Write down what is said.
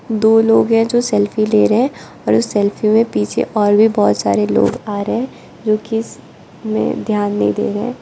दो लोग है जो सेल्फी ले रहे और उस सेल्फी में पीछे और भी बहोत सारे लोग आ रहे जो कि ध्यान नहीं दे रहे--